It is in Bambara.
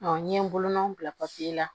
n ye bolonɔ bila papiye la